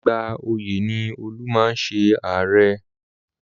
Ìgbà ọyẹ̀ ni Olú máa ń ṣe àárẹ̀